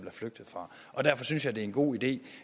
er flygtet fra og derfor synes jeg det er en god idé